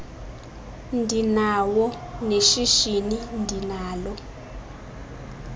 ndinawo neshishini ndinalo